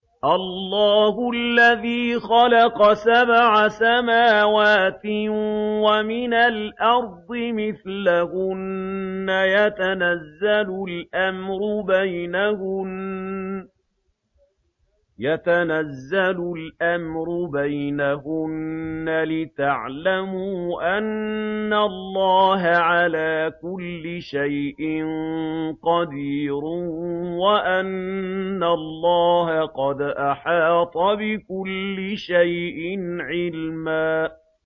اللَّهُ الَّذِي خَلَقَ سَبْعَ سَمَاوَاتٍ وَمِنَ الْأَرْضِ مِثْلَهُنَّ يَتَنَزَّلُ الْأَمْرُ بَيْنَهُنَّ لِتَعْلَمُوا أَنَّ اللَّهَ عَلَىٰ كُلِّ شَيْءٍ قَدِيرٌ وَأَنَّ اللَّهَ قَدْ أَحَاطَ بِكُلِّ شَيْءٍ عِلْمًا